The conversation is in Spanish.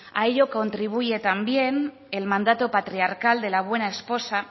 a ello contribuye también el mandato patriarcal de la buena esposa